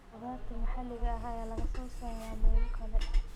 Khudaarta maxaliga ah ayaa laga soo saaraa meelo kale.